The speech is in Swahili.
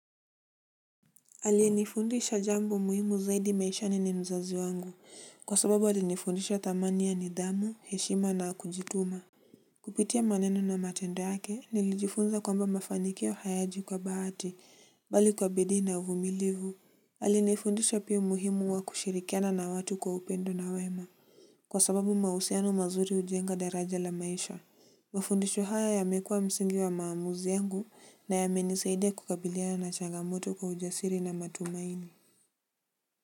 Aliyenifundisha jambo muhimu zaidi maishani ni mzazi wangu kwa sababu alinifundisha thamani ya nidhamu heshima na kujituma. Kupitia maneno na matendo yake nilijifunza kwamba mafanikio hayaji kwa bahati bali kwa bidii na uvumilivu. Alinifundisha pia umuhimu wa kushirikiana na watu kwa upendo na wema. Kwa sababu mahusiano mazuri hujenga daraja la maisha. Mafundisho haya yamekua msingi wa maamuzi yangu na yamenisaidia kukabiliana na changamoto kwa ujasiri na matumaini.